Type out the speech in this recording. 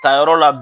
Tayɔrɔ la